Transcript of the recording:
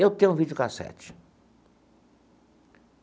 Eu tenho um videocassete.